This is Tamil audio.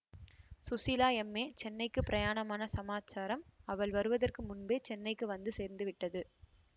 ஸுசீலா எம்ஏ சென்னைக்கு பிரயாணமான சமாசாரம் அவள் வருவதற்கு முன்பே சென்னைக்கு வந்து சேர்ந்து விட்டது